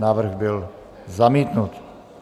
Návrh byl zamítnut.